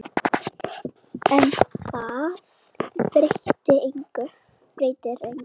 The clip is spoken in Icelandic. En það breytir engu.